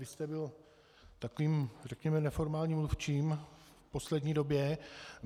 Vy jste byl takovým řekněme neformálním mluvčím v poslední době.